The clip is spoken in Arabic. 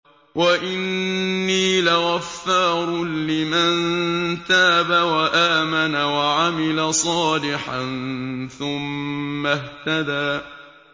وَإِنِّي لَغَفَّارٌ لِّمَن تَابَ وَآمَنَ وَعَمِلَ صَالِحًا ثُمَّ اهْتَدَىٰ